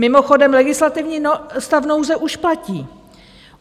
Mimochodem legislativní stav nouze už platí.